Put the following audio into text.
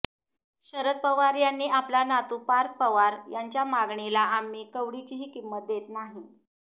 शरद पवार यांनी आपला नातू पार्थ पवार यांच्या मागणीला आम्ही कवडीचीही किंमत देत नाही